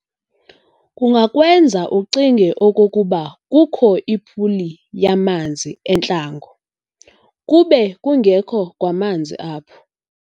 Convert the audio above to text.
Kungakwenza ucinge okokuba kukho ipuli yamanzi entlango, kube kungekho kwamanzi apho.